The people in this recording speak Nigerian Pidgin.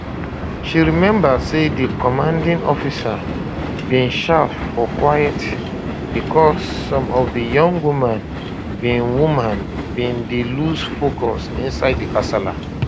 she remember say di commanding officer bin shout for quiet bicos some of di young women bin women bin dey loose focus inside di kasala